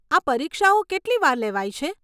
આ પરીક્ષાઓ કેટલી વાર લેવાય છે?